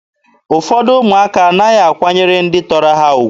Ụfọdụ ụmụaka anaghị akwanyere ndị tọrọ ha ugwu.